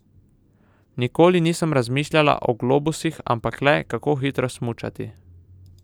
Nikoli nisem razmišljala o globusih, ampak le, kako hitro smučati.